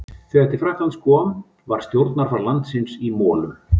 Þegar til Frakklands kom var stjórnarfar landsins í molum.